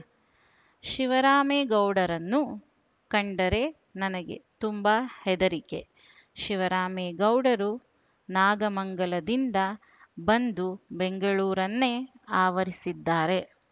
ಶಿವರಾಮೇಗೌಡರನ್ನು ಕಂಡರೆ ನನಗೆ ತುಂಬಾ ಹೆದರಿಕೆ ಶಿವರಾಮೇಗೌಡರು ನಾಗಮಂಗಲದಿಂದ ಬಂದು ಬೆಂಗಳೂರನ್ನೇ ಆವರಿಸಿದ್ದಾರೆ